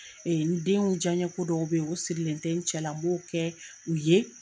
n denw diyan ko dɔw bɛ yen o sirilen tɛ n cɛ la, m'o kɛ u ye.